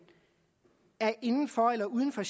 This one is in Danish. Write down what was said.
er inden for eller uden for